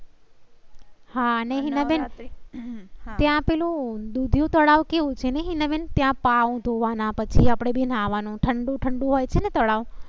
હા અને હિનાબેન ત્યાં પેલું દુધિયુ તળાવ કેવું છે? ને હિનાબેન ત્યાં પાવ ધોવા ના પછી આપ ડે બનાવવા નું ઠંડું ઠંડું હોય છે તળાવ.